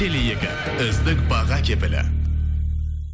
теле екі үздік баға кепілі